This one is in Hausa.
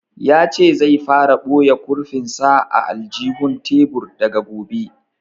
Ya ce zai fara boye kurfin sa a aljihun tebur daga gobe